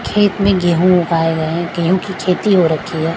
खेत में गेहूं उगाए गए हैं गेहूं की खेती हो रखी है।